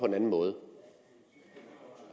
en anden måde